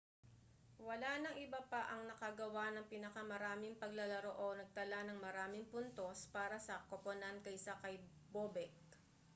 wala nang iba pa ang nakagawa ng pinakamaraming paglalaro o nagtala ng maraming puntos para sa koponan kaysa kay bobek